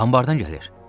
Anbardan gəlir.